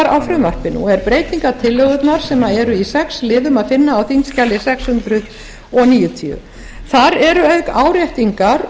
á frumvarpinu og er breytingartillögurnar sem eru í sex liðum að finna á þingskjali sex hundruð níutíu þar er auk áréttingar